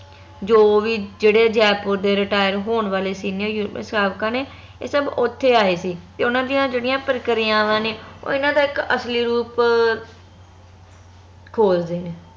ਜੋ ਵੀ ਜਿਹੜੇ ਜੈਪੁਰ ਦੇ retire ਹੋਣ ਵਾਲੇ senior ਯੂ ਸਾਬਕਾ ਨੇ ਏ ਸਬ ਓਥੇ ਆਏ ਸੀ ਤੇ ਓਨਾ ਦੀਆ ਜਿਹੜੀਆਂ ਪ੍ਰਕ੍ਰਿਆਵਾਂ ਨੇ ਓਹ ਏਹਨਾ ਦਾ ਇਕ ਅਸਲੀ ਰੂਪ ਖੋਜਦੇ ਨੇ